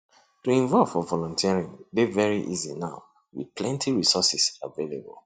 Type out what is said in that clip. to involve for volunteering dey very easy now with plenty resources available